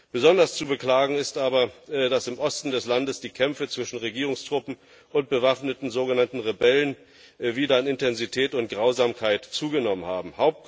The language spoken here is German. Besonders zu beklagen ist aber, dass im Osten des Landes die Kämpfe zwischen Regierungstruppen und bewaffneten sogenannten Rebellen wieder an Intensität und Grausamkeit zugenommen haben.